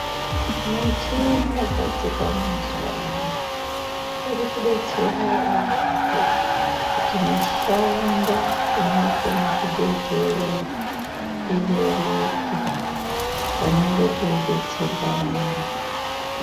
Michini yogadzirwa mazuwa ano iri kudetsera yaampo kuti mushando inotwa muzvibhedhlera ireruke panenga peidetserwa vantu .